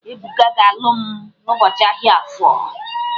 Ebuka ga-alụ m n'ụbọchị ahia Afọ.